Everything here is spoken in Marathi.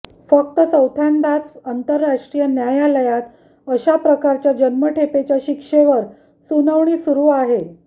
फक्त चौथ्यांदाच आंतरराष्ट्रीय न्यायालयात अशाप्रकारच्या जन्मठेपेच्या शिक्षेवर सुनावणी सुरू आहे